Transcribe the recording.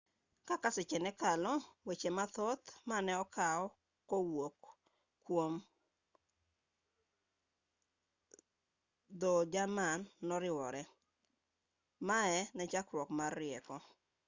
kaka seche nekalo weche mathoth maneokaw kowuok kuom dho jerman noriwore mae nechakruok mar rieko